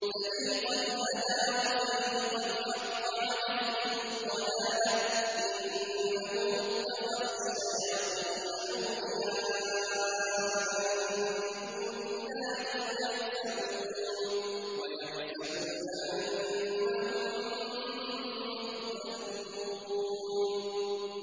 فَرِيقًا هَدَىٰ وَفَرِيقًا حَقَّ عَلَيْهِمُ الضَّلَالَةُ ۗ إِنَّهُمُ اتَّخَذُوا الشَّيَاطِينَ أَوْلِيَاءَ مِن دُونِ اللَّهِ وَيَحْسَبُونَ أَنَّهُم مُّهْتَدُونَ